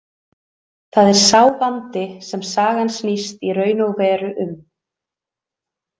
Það er sá vandi sem sagan snýst í raun og veru um.